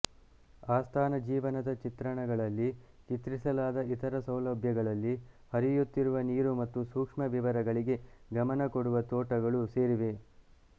ಆಸ್ಥಾನ ಜೀವನದ ಚಿತ್ರಣಗಳಲ್ಲಿ ಚಿತ್ರಿಸಲಾದ ಇತರ ಸೌಲಭ್ಯಗಳಲ್ಲಿ ಹರಿಯುತ್ತಿರುವ ನೀರು ಮತ್ತು ಸೂಕ್ಷ್ಮ ವಿವರಗಳಿಗೆ ಗಮನ ಕೊಡುವ ತೋಟಗಳು ಸೇರಿವೆ